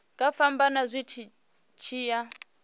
nga fhambana zwi tshi ya